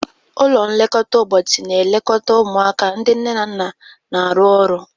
Ụlọ nlekọta ụbọchị na-elekọta ụmụaka ndị nne na nna na-arụ ọrụ.